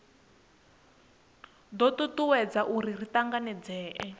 do tutuwedza uri ri tanganedzee